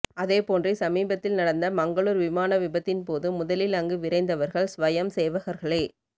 அதே போன்றே சமீபத்தில் நடந்த மங்களூர் விமான விபத்தின் போது முதலில் அங்கு விரைந்தவர்கள் ஸ்வயம் சேவகர்களே